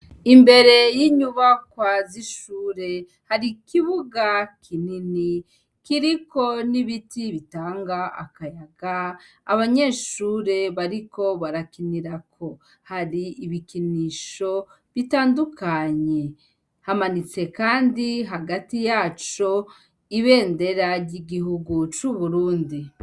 Imbere y'inyuba kwazishure hari ikibuga kinini kiriko n'ibiti bitanga akayaga abanyeshure bariko barakinirako hari ibikinisho bitandukanye hamanitse, kandi hagati yaco ibe nderarya igihuguc'uburundi.